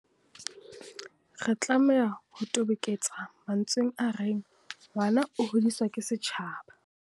Re tlameha ho toboketsa mantsweng a reng, ngwana o hodiswa ke setjhaba.